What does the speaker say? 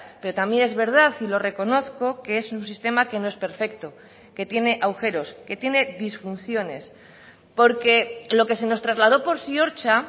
pero también es verdad y lo reconozco que es un sistema que no es perfecto que tiene agujeros que tiene disfunciones porque lo que se nos trasladó por ziortza